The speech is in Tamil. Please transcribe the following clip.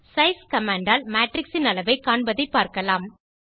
சைஸ் கமாண்ட் ஆல் மேட்ரிக்ஸ் இன் அளவை காண்பதை பார்க்கலாம்